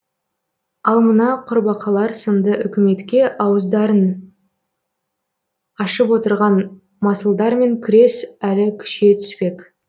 ал мына құрбақалар сынды үкіметке ауыздарын ашып отырған масылдармен күрес әлі күшейе түспек